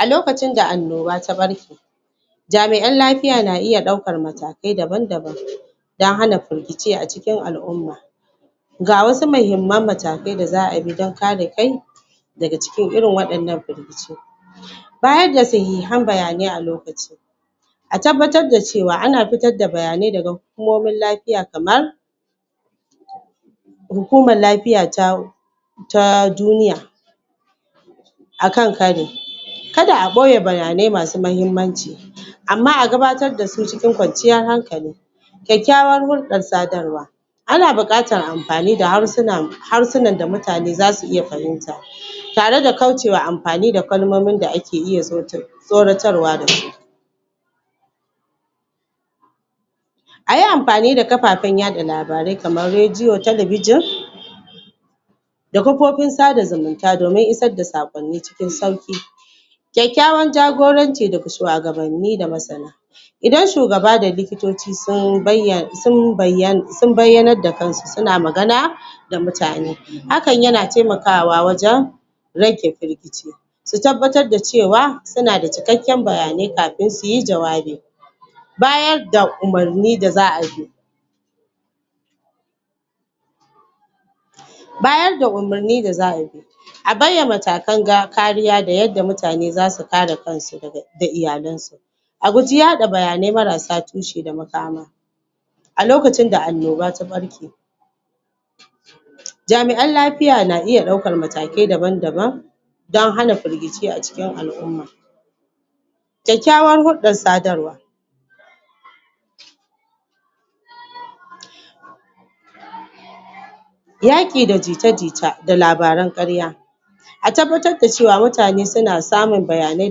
A lokacinda annoba ta ɓarke jamiʼan lafiya na iya ɗaukan matakai daban daban don hana firgici a cikin alʼumma ga wasu mahimman matakai da zaʼa iya bi don kare kai daga cikin irin wannan firgici bayaga sahihan bayanai a lokaci a tabbatar da cewa ana fitar da bayanai daga hukumomin lafiya kamar, hukumar lafiya ta ta duniya akan kari kada a boye bayanai masu mahimmanci Amma a gabatar dasu cikin kwanciyar hankali kyakkyawan hulɗar sadarwa ana buƙatar anfani da harsunan da mutane zasu iya fahimta tareda kaucema anfani da kalmominda ake iya Tsoratarwa da shi, Ayi anfani da kafafen yaɗa labarai kamar radio, talabijen da kafofin sada zumunta domin isar da saƙonni cikin sauki kyakkyawan jagoranci daga shuwagabanni da masana Idan shugaba da likitoci sun bayyanar da kansu suna magana ga mutane hakan yana taimakawa wajen rage firgici su tabbatar da cewa sunada cikakken bayanai kafin suyi jawabi. bayarda umarni da za'ayi bayarda umarni da za'ayi a baiwa matakan kariya da yanda mutane zasu kare kansu daga da iyalensu a guji yaɗa bayanai marasa tushe da makama a lokacinda annoba ta ɓarke jamiʼan lafiya na iya ɗaukan matakai daban daban don hana firgici a cikin alʼumma. kyakkyawan hulɗar sadarwa, yaki da jita jita da labaran ƙarya a tabbatarda cewa mutane na samun labarai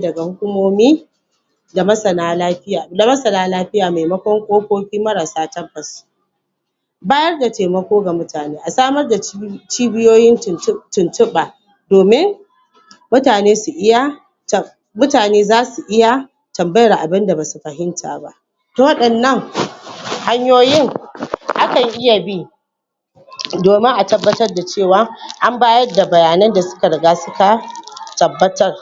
daga hukumomin da masana lafiya maimakon ƙofofi marasa tabbas. Bayarda taimako ga mutane, a samar da cibiyoyin tuntuɓa domin mutane su iya mutane za su iya tambayar abunda basu fahimta ba wadannan hanyoyin akan iya bi domin a tabbatar da cewa an bayarda bayanan da suka riga suka tabbatar.